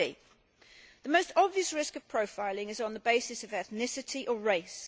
50. The most obvious risk of profiling is on the basis of ethnicity or race.